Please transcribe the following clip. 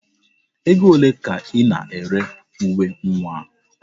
Ego ole ka Ị na-ere uwe nwa a?